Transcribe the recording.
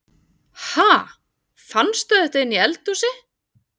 Ha! Fannstu þetta inni í eldhúsi?